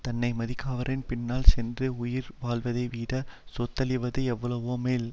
தன்னை மதிக்காதவரின் பின்னால் சென்று உயிர் வாழ்வதைவிடச் செத்தொழிவது எவ்வளவோ மேல்